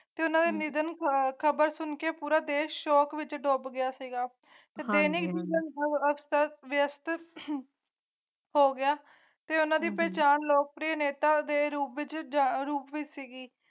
ਨਵੀਨਤਮ ਖਬਰ ਸੁਣ ਕੇ ਪੂਰਾ ਦੇਸ਼ ਸ਼ੋਕ ਵਿਚ ਡੁਬ ਗਿਆ ਸੀ ਪੱਤਰ ਪ੍ਰੇਰਕ ਵਿਰਾਸਤ ਹੋ ਗਯਾ ਉਨ੍ਹਾਂ ਦੀ ਪਹਿਚਾਣ ਲੋਕ ਆਪਣੇ ਨੇਤਾ ਦੇ ਰੂਪ ਵਿੱਚ ਜਾਗਰੂਕਤਾ ਵੀ ਸੀ ਹੀ